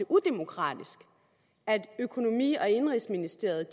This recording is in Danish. udemokratisk at økonomi og indenrigsministeriet